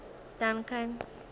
duncan